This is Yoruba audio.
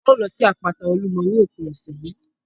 A ó lọ sí àpáta Olúmọ ní òpin ọ̀sẹ̀ yìí